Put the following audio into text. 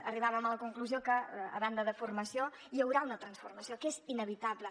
arribàvem a la conclusió que a banda de formació hi haurà una transformació que és inevitable